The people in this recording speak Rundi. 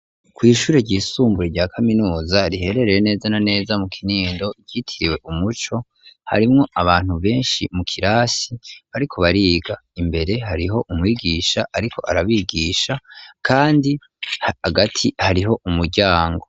Kw'ishure ryisumbuye rya kaminuza riherereye neza na neza mu Kinindo, ryitiriwe umuco, harimwo abantu benshi mu kirasi bariko bariga, imbere hariho umwigisha ariko arabigisha kandi hagati hariho umuryango.